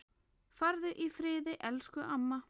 Farðu í friði, elsku amma.